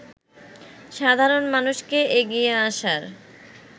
সাধারণ মানুষকে এগিয়ে আসার